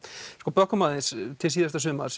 bökkum aðeins til síðasta sumars